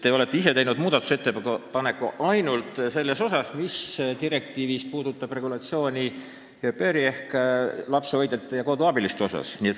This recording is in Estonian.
Te ise olete teinud muudatusettepaneku ainult selle direktiivi osa kohta, mis puudutab au pair'ide ehk lapsehoidjate-koduabiliste regulatsiooni.